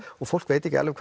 og fólk veit ekki alveg